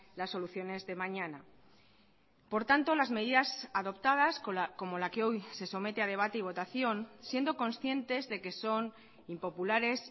las soluciones de mañana por tanto las medidas adoptadas como la que hoy se somete a debate y votación siendo conscientes de que son impopulares